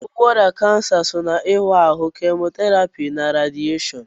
Ọgwụgwọ ọrịa kansa so n'ịwa ahụ, Kemotherapy, na radieshon.